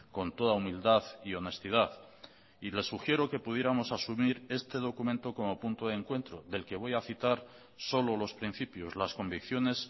con toda humildad y honestidad y le sugiero que pudiéramos asumir este documento como punto de encuentro del que voy a citar solo los principios las convicciones